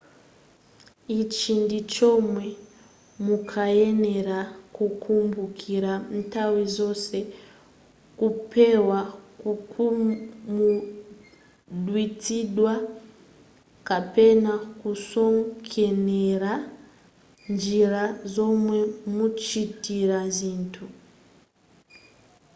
ichi ndi chomwe mukuyenera kukumbukira nthawi zonse kupewa kukhumudwitsidwa kapena kusokoneza njira zomwe muchitira zinthu